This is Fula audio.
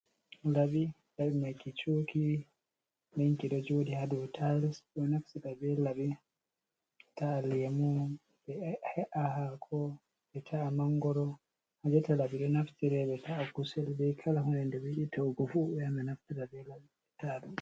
Labi. Labi mai ki chuki. Nɗenki ɗo jodi ha ɗow ta'ils. Ɗo ɗo naftira be labi be ta’a laimu, be he’a hako, be ta’a mangoro. Ha jotta labi ɗo naftire be ta’a kusel bei kala hoɗe nɗe be yiɗi taugofu be yahan be naftira be labi be tada ɗum.